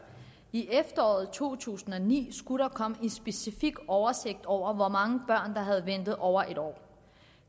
i efteråret to tusind og ni skulle der komme en specifik oversigt over hvor mange børn der havde ventet over en år